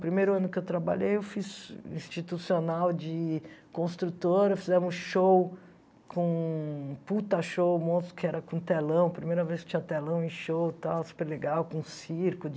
Primeiro ano que eu trabalhei eu fiz institucional de construtora, fizemos show com puta show, monstro que era com telão, primeira vez que tinha telão em show, tal, super legal, com circo